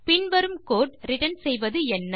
பின் வரும் code return செய்வது என்ன